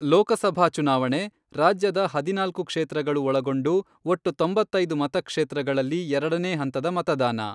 ಲೋಕಸಭಾ ಚುನಾವಣೆ, ರಾಜ್ಯದ ಹದಿನಾಲ್ಕು ಕ್ಷೇತ್ರಗಳು ಒಳಗೊಂಡು ಒಟ್ಟು ತೊಂಬತ್ತೈದು ಮತಕ್ಷೇತ್ರಗಳಲ್ಲಿ ಎರಡನೇ ಹಂತದ ಮತದಾನ.